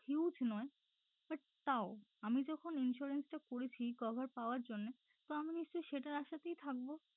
Huge নয় but তাও আমি যখন insurance টা করেছি cover পাওয়ার জন্য তো আমি নিশ্চয়ই সেটার আশাতেই থাকবো